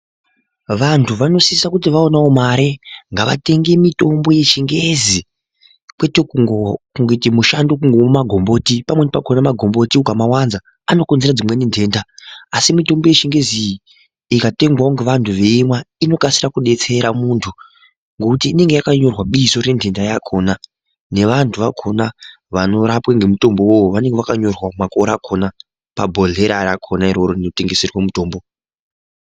Vantu vanosisa kuti vaonawo mare ngavatenge mitombo yechingezi kwete kungoita mushando wekumwa magomboti , pamweni pacho ukaamwa magomboti anokonzera nhenda . Asi mitombo yechingezi iyi ingatengwawo ngeanhu eimwa inokasirawo kudetsera muntu ngekuti inonga yakanyorwa bizo renhenda yakona nevantu vakona vanorapwe nemutomitombo iyoyo, inenge yakanyorwa nemakore akona pabhohlera rakona rinotengeserwa mitombo.